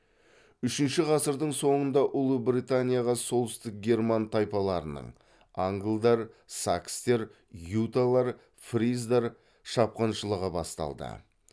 үшінші ғасырдың соңында ұлыбританияға солтүстік герман тайпаларының шапқыншылығы басталды